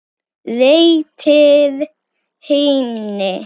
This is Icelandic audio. Réttir henni.